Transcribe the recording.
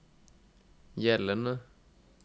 gjeldende